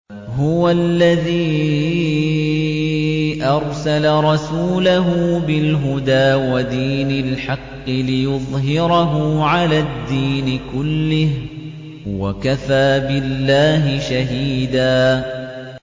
هُوَ الَّذِي أَرْسَلَ رَسُولَهُ بِالْهُدَىٰ وَدِينِ الْحَقِّ لِيُظْهِرَهُ عَلَى الدِّينِ كُلِّهِ ۚ وَكَفَىٰ بِاللَّهِ شَهِيدًا